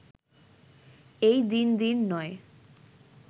এই দিন দিন নয়